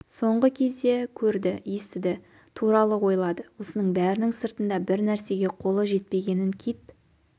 соңғы кезде көрді естіді туралы ойлады осының бәрінің сыртында бір нәрсеге қолы жетпегенін кит